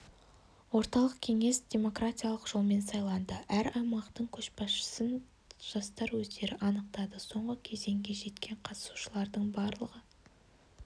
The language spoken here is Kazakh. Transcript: орталық кеңес демократиялық жолмен сайланды әр аймақтың көшбасшысын жастар өздері анықтады соңғы кезеңге жеткен қатысушылардың барлығы